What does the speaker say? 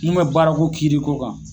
N'u be baara ko kiiri ko kan